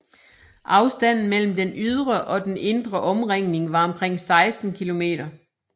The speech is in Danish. Afstanden mellem den ydre og den indre omringning var omkring 16 km